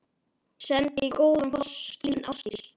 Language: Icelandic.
Sendi góðan koss, þín Ástdís.